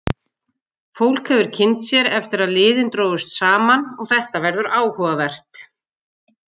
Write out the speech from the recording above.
Fólk hefur kynnt sér eftir að liðin drógust saman og þetta verður áhugavert.